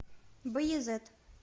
баязет